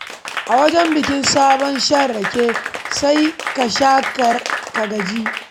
A wajen bikin sabon bikin shan-rake, sai ka sha rake ka gaji.